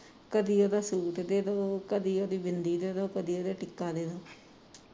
ਕਦੀ ਓਹਦਾ ਸੁਟ ਦੇ ਦੋ ਕਦੀ ਓਹਦੀ ਬਿੰਦੀ ਦੇ ਦੋ ਕਦੀ ਓਹਦਾ ਟਿੱਕਾ ਦੇ ਦੋ